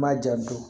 N m'a ja don